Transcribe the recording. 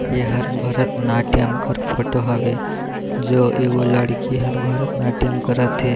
ये हर भरतनाट्यम कर फोटो हवे जो एको लड़की हर भरतनाट्यम करत हे।